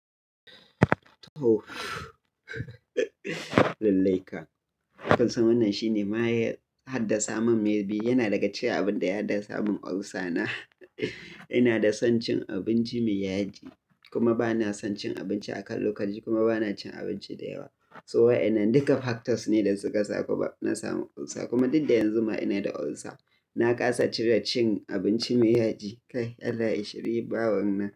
Tooo lallai kam. Kun san wannan shine mayan haddasa min maibi, yana daga cikin abin da ya haddasa min ulcer na. Ina da son cin abinci mai yaji kuma ba na son cin abinci a kan lokaci kuma ba na cin abinci da yawa. So wa enan duka factors ne da suka sa kuma na samu ulcer kuma duk da yanzu ma ina da ulcer. Na kasa cire cin abinci mai yaji. Kai Allah ya shiri bawanan.